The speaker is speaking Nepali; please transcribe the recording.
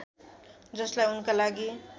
जसलाई उनका लागि